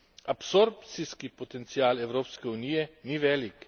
Absorpcijski potencial Evropske unije ni velik.